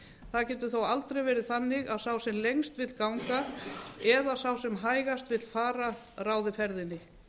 það getur þó aldrei verið þannig að sá sem lengst vill ganga eða sá sem hægast vill fara ráði ferðinni